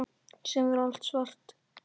Síðan verður allt svart.